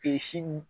si